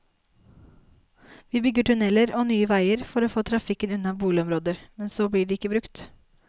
Vi bygger tunneler og nye veier for å få trafikken unna boligområder, men så blir de ikke brukt.